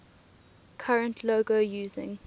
current logo using